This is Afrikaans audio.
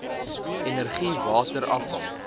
energie water afval